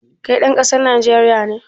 Kai ɗan ƙasa nagari ne?